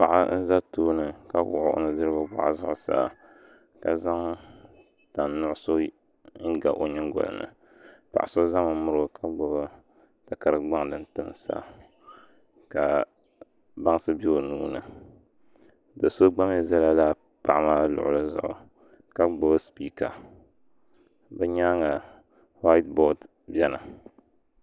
Paɣa n ʒɛ tooni ka wuɣu o nudirigu boɣu zuɣusaa ka zaŋ tani nuɣso n ga o nyingoli ni paɣa so ƶɛmi miro ka gbubi takari gbaŋ din timsa ka baŋsi bɛ o nuuni do so gba mii ʒɛla paɣa maa luɣuli zuɣu ka gbubi spiika bi nyaanga whait bood biɛni